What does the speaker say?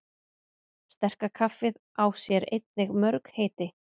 Sterka kaffið á sér einnig mörg heiti.